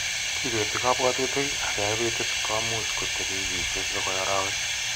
Kibeti kabwatutik ak ke ebit it ko much kotepi wiikiisiek akoi arowek.